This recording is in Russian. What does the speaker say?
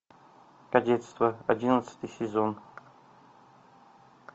кадетство одиннадцатый сезон